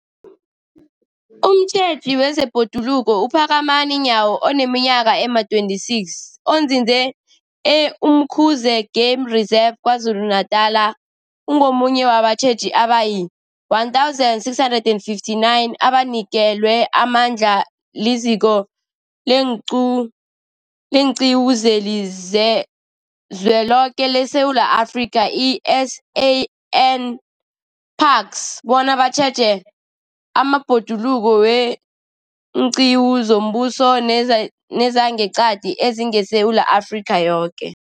Umtjheji wezeBhoduluko uPhakamani Nyawo oneminyaka ema-26, onzinze e-Umkhuze Game Reserve KwaZulu-Natala, ungomunye wabatjheji abayi-1 659 abanikelwe amandla liZiko leenQiwu zeliZweloke leSewula Afrika, i-SANParks, bona batjheje amabhoduluko weenqiwu zombuso nezangeqadi ezingeSewula Afrika yoke.